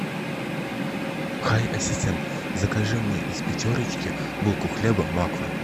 хай ассистент закажи мне из пятерочки булку хлеба макфа